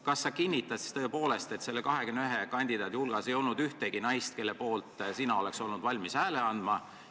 Kas sa kinnitad tõepoolest, et nende 21 kandidaadi hulgas ei olnud ühtegi naist, kelle poolt sina oleks olnud valmis hääle andma?